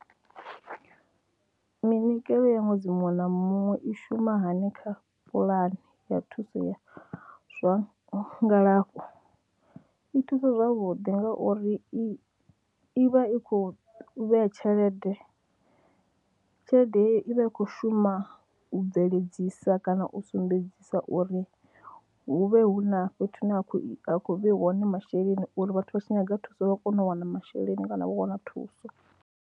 Minikelo ya ṅwedzi muṅwe na muṅwe i shuma hani kha puḽani ya thuso ya zwa ngalafho, i thusa zwavhuḓi ngauri i i vha i khou vhea tshelede, tshelede i vha i khou shuma u bveledzisa kana u sumbedzisa uri hu vhe hu na fhethu hune ha khou ha khou vheiwa hone masheleni uri vhathu vha tshi nyaga thuso vha kone u wana masheleni kana vha wana thuso.